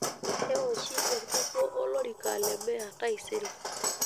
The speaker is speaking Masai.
Keoshi enkukuo olorika le meya taisere.